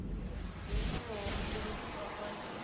dzo itiwaho mutevhe afha ndi